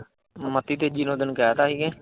ਮਤੀ ਤੇਜ਼ੀ ਨਾਲ ਤੈਨੂੰ ਕਹਿ ਤਾਂ ਹੀ ਕਿ।